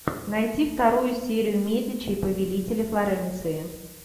найти вторую серию медичи повелители флоренции